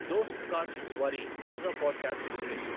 దోస్త్ కాస్ట్స్ వారి తాజా పోడ్కాస్ట్ వినిపించు